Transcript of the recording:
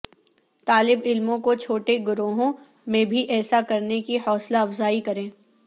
طالب علموں کو چھوٹے گروہوں میں بھی ایسا کرنے کی حوصلہ افزائی کریں